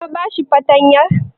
Ka ba shi fartanyan??